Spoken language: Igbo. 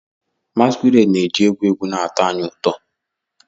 Masquerades na-eji egwu egwu na-atọ anyị ụtọ.